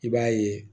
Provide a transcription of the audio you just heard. I b'a ye